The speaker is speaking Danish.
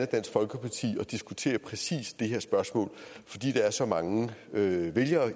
dansk folkeparti og diskutere præcis det her spørgsmål fordi der er så mange vælgere